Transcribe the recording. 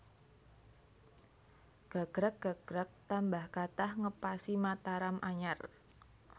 Gagrag gagrag tambah kathah ngepasi Mataram anyar